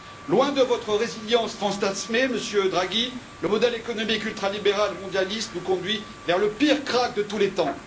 Loin de votre résilience fantasmée, Monsieur Draghi, le modèle économique ultralibéral et mondialiste nous conduit vers le pire krach de tous les temps.